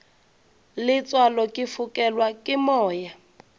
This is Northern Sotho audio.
letswalo ke fokelwa ke moya